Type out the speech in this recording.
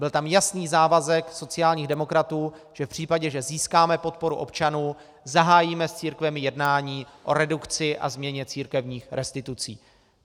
Byl tam jasný závazek sociálních demokratů, že v případě, že získáme podporu občanů, zahájíme s církvemi jednání o redukci a změně církevních restitucí.